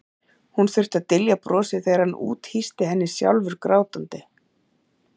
Hún þurfti að dylja brosið þegar hann úthýsti henni, sjálfur grátandi.